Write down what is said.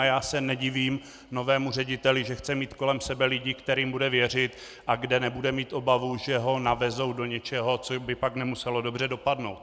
A já se nedivím novému řediteli, že chce mít kolem sebe lidi, kterým bude věřit a kde nebude mít obavu, že ho navezou do něčeho, co by pak nemuselo dobře dopadnout.